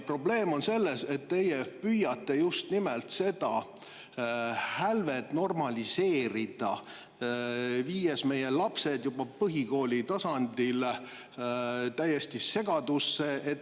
Probleem on selles, et teie püüate just nimelt seda hälvet normaliseerida, viies meie lapsed juba põhikooli tasandil täiesti segadusse.